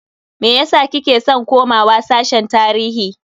Meyasa kike san komawa sashen tarihi?